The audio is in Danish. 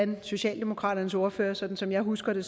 med socialdemokratiets ordfører sådan som jeg husker det